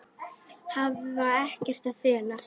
Hafa ekkert að fela.